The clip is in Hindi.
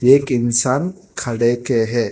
एक इंसान खड़े के है।